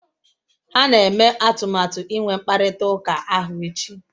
Ha na-eme atụmatụ inwe mkparịta ụka ahụ echi